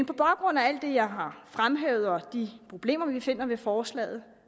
på baggrund af alt det jeg har fremhævet og de problemer vi finder ved forslaget